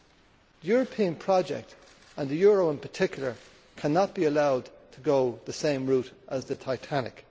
The European project, and the euro in particular, cannot be allowed to go the same route as the Titanic.